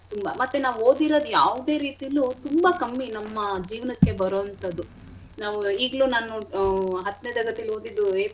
ತುಂಬಾ ಮತ್ತೆ ನಾವ್ ಓದಿರದ್ ಯಾವ್ದೆ ರೀತಿಲೂ ತುಂಬಾ ಕಮ್ಮಿ ನಮ್ಮ ಜೀವನಕ್ಕೆ ಬರೋಂಥದ್ದು ನಾವೂ ಇಗ್ಲೂ ನಾನ್ ನೋಡ್ ಆಹ್ ನಾನು ಹತ್ನೇ ತರಗತಿಲ್ ಓದಿದ್ದು.